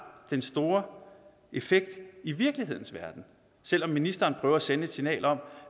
den store effekt i virkelighedens verden selv om ministeren prøver at sende et signal om